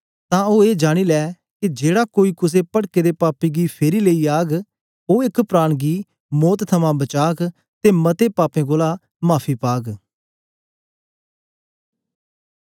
तां ओ ए जानी लै के जेड़ा कोई कुसे पटके दे पापी गी फेरी लेई ओग ओ एक प्राण गी मौत थमां बचाग ते मते पापें कोलां माफी पाग